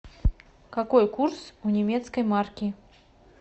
какой курс у немецкой марки